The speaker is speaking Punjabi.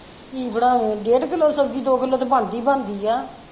ਕੀ ਬਣਾਵੇ ਡੇਢ ਕਿੱਲੋ ਸਬਜ਼ੀ ਦੋ ਕਿੱਲੋ ਤੇ ਬਣਦੀ ਬਣਦੀ ਆ।